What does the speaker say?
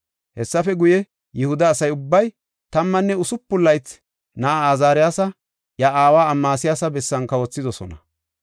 Hessafe guye, Yihuda asa ubbay tammanne usupun laytha na7aa Azaariyasa iya aawa Amasiyaasa bessan kawothidosona.